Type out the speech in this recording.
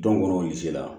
Don kɔni o se la